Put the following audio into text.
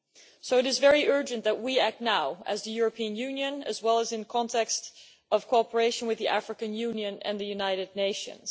So it is very urgent that we act now as the European Union, as well as in context of cooperation with the African Union and the United Nations.